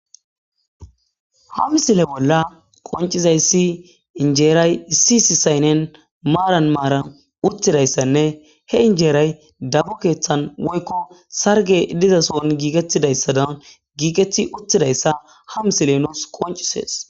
ha misile bolla qoncizayssi injeeray isisi saynnen maaran maaran uttidayssanne he injeeray dabu keeththan woykko sarge diza soon giikettidayssa dan giiqeti uttidayssa ha misile noos qoncisees